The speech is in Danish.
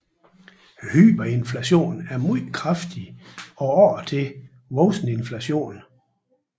Hyperinflation er meget kraftig og ofte voksende inflation